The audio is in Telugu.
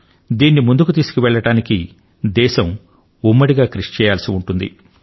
దీనిని ముందుకు తీసుకుపోవడానికి దేశం ఉమ్మడిగా కృషి చేయవలసి ఉంటుంది